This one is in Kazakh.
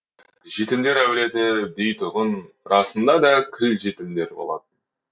жетімдер әулеті дейтұғын расында да кіл жетімдер болатын